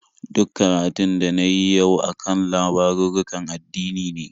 Duk karatun da na yi yau a kan labarurrukan addini ne.